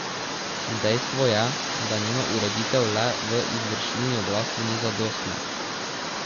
Dejstvo je, da njena ureditev le v izvršilni veji oblasti ni zadostna.